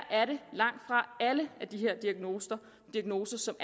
langtfra alle diagnoserne